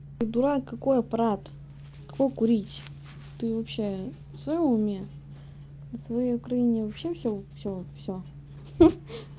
дурак какой аппарат какой курить ты вообще в своём уме на своей украине вообще всё всё всё ха